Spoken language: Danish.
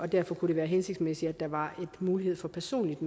derfor kunne det være hensigtsmæssigt at der var en mulighed for personligt